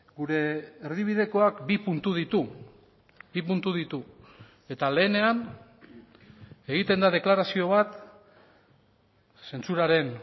gure erdibidekoak bi puntu ditu bi puntu ditu eta lehenean egiten da deklarazio bat zentsuraren